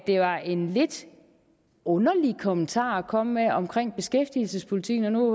det var en lidt underlig kommentar at komme med om beskæftigelsespolitikken og nu